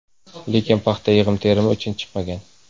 Lekin paxta yig‘im-terimi uchun chiqmagan.